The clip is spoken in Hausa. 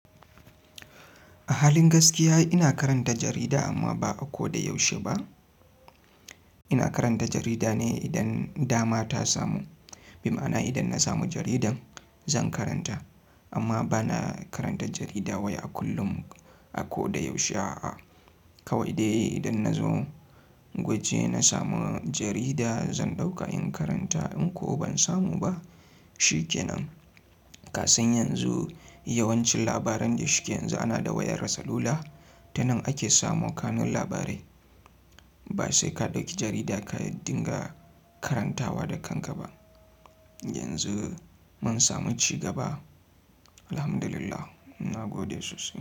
A halin gaskiya ina karanta jarida amma ba a ko da yaushe ba. Ina karanta jarida ne idan dama ta samu. Bima'ana idan na samu jaridan zan karanta amma bana karanta jarida wai a kullum a koda yaushe a'a. Kawai dai idan na zo waje na samu jarida zan ɗauka in karanta in kuwa ban samu ba shikenan. Kasan yanzu yawancin labaran da shike yanzu ana da wayar salula ta nan ake samo kanun labarai. Ba sai ka ɗauki jarida ka dinga karantawa da kanka ba. Yanzu mun samu cigaba, Alhamdlillah nagode sosai da sosai.